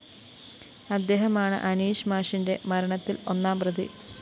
അദ്ദേഹമാണ് അനീഷ് മാഷിന്റെ മരണത്തില്‍ ഒന്നാംപ്രതി